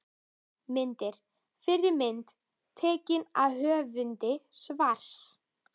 Myndir: Fyrri mynd: Tekin af höfundi svars.